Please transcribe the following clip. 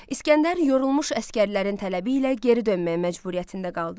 İsgəndər yorulmuş əsgərlərin tələbi ilə geri dönməyə məcburiyyətində qaldı.